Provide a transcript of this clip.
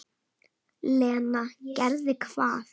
Lena: Gerði hvað?